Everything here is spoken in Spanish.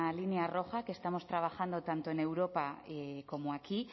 línea roja que estamos trabajando tanto en europa como aquí